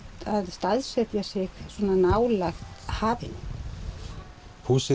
staðsetja sig svona nálægt hafinu húsið